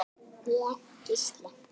Ég: Gísli.